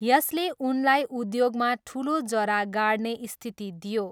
यसले उनलाई उद्योगमा ठुलो जरा गाड्ने स्थिति दियो।